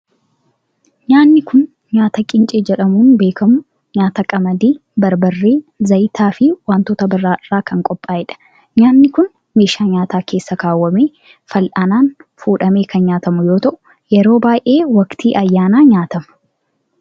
Nyaanni kun, nyaata qincee jedhamuun beekamu nyaata qamadii, barbarree ,zayita fi wantoota biroo irraa kan qophaa'e dha. Nyaanni kun, meeshaa nyaataa keessa kaawwamee fal'aanaan fuudhamee kan nyaatamu yoo ta'u, yeroo baay'ee waqtii ayyaanaa nyaatama.